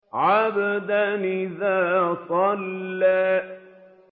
عَبْدًا إِذَا صَلَّىٰ